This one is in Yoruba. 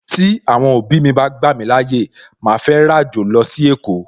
Tí Àwọn òbí mi bá gbà mí láyè, màá fẹ́ ràjò lọ sí èkó